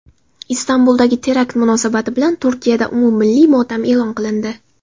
Istanbuldagi terakt munosabati bilan Turkiyada umummilliy motam e’lon qilindi.